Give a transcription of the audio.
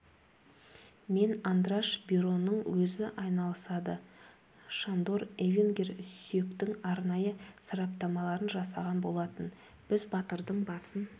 мен андраш бироның өзі айналысады шандор эвингер сүйектің арнайы сараптамаларын жасаған болатын біз батырдың басын